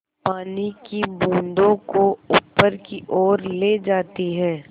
पानी की बूँदों को ऊपर की ओर ले जाती है